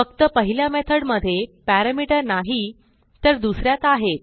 फक्त पहिल्या मेथडमधे पॅरामीटर नाही तर दुस यात आहेत